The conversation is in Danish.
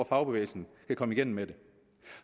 fagbevægelsen kan komme igennem med